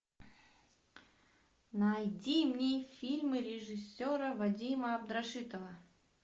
найди мне фильмы режиссера вадима абдрашитова